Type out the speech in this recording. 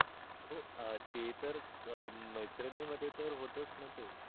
हो ते तर मैत्रिणी मध्ये तर होतच णा ते